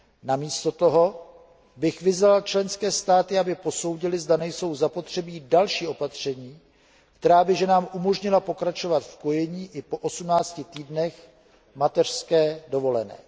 Namísto toho bych vyzval členské státy, aby posoudily, zda nejsou zapotřebí další opatření, která by ženám umožnila pokračovat v kojení i po 18 týdnech mateřské dovolené.